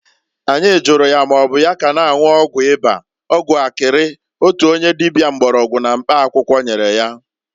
Anyi juru ya maọbụ ya ka na-anwụ ọgwụ ịba (ọgwụ akịrị) otu onye dịbịa mgbọrọgwụ na mkpa akwụkwọ nyere ya?